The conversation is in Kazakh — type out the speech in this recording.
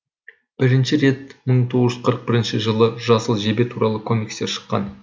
бірінші рет мың тоғыз жүз қырық бірінші жылы жасыл жебе туралы комикстер шыққан